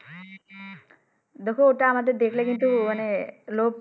দেখো ওইটা আমাদের দেখলে কিন্তু মানে লোভ